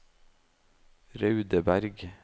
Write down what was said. Raudeberg